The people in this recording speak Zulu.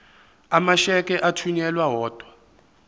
amasheke athunyelwa odwa